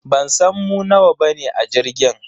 Bansan mu nawa bane a jirgin.